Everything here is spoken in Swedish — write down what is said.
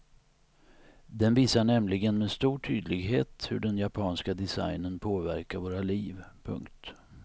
Den visar nämligen med stor tydlighet hur den japanska designen påverkar våra liv. punkt